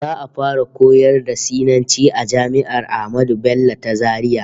Za'a fara koyar da Sinanci a jami'ar Ahmadu Bello ta Zaria